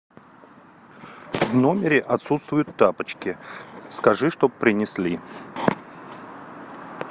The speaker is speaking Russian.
в номере отсутствуют тапочки скажи чтоб принесли